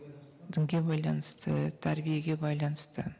дінге байланысты тәрбиеге байланысты